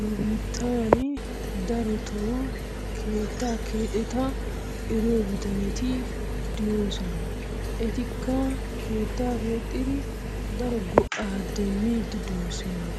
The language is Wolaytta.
Nu biittan darotoo keettaa keexetaa eriyo bitanetii diyossona. Etikka keettaa keexxidi daro go'aa demmiidi doosona.